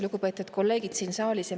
Lugupeetud kolleegid siin saalis!